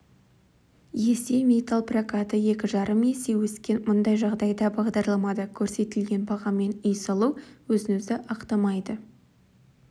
есе металлпрокаты екі жарым есе өскен мұндай жағдайда бағдарламада көрсетілген бағамен үй салу өзін-өзі ақтамайды